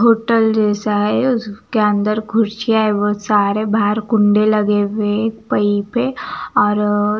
hotel जैसा है उसके अंदर कुर्सियां एवं सारे बाहर कुंडे लगे हुए हैं एक पई पे और--